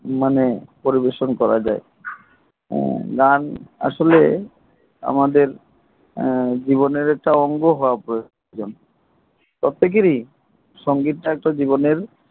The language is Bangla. মানে পরিবেশন করা যায় হু গান আসলে আমাদের জীবনের একটা অঙ্গ হওয়া প্রয়োজন সতিকারী সঙ্গীত টা একটা জীবনের